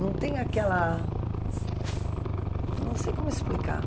Não tem aquela... Não sei como explicar.